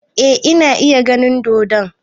Eh ina iya ganin dodon